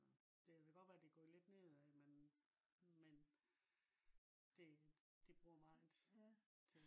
det kan godt være det er gået lidt ned af men men det bruger meget